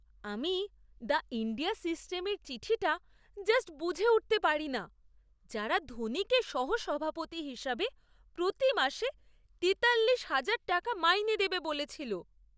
আমি the India সিমেন্টের চিঠিটা জাস্ট বুঝে উঠতে পারিনা যারা ধোনিকে সহ সভাপতি হিসাবে প্রতি মাসে তেতাল্লিশ হাজার টাকা মাইনে দেবে বলেছিল!